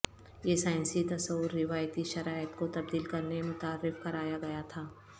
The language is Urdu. یہ سائنسی تصور روایتی شرائط کو تبدیل کرنے متعارف کرایا گیا تھا